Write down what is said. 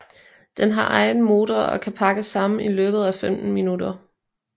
Den har egen motor og kan pakkes sammen i løbet af 15 minutter